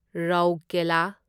ꯔꯧꯔꯀꯦꯂꯥ